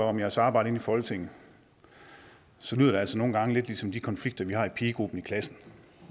om jeres arbejde inde i folketinget så lyder det altså nogle gange lidt ligesom de konflikter vi har i pigegruppen i klassen